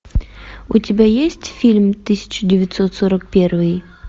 у тебя есть фильм тысяча девятьсот сорок первый